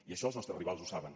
i això els nostres rivals ho saben